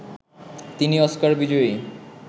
তিনি অস্কার বিজয়ী